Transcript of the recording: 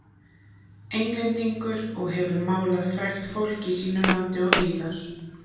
Englendingur og hefur málað frægt fólk í sínu landi og víðar.